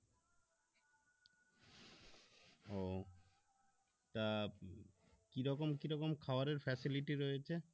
ও তা কিরকম কিরকম খাবারের facility রয়েছে